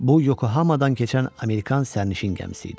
Bu Yokohamadan keçən Amerikan sərnişin gəmisi idi.